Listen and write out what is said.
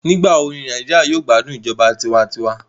Nigbawo ni Naijiria yoo gbadun ijọba tiwantiwa?